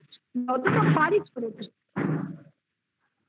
যতটা পারি করে দিই